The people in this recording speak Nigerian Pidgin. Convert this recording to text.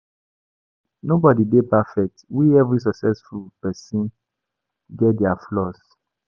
Nobody dey perfect we every successful person get their flaws